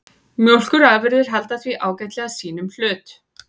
Mjólkurafurðir halda því ágætlega sínum hlut